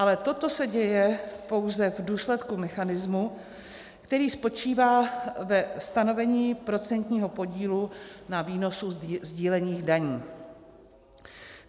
Ale toto se děje pouze v důsledku mechanismu, který spočívá ve stanovení procentního podílu na výnosu sdílených daní.